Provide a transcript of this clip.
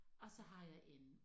Og så har jeg en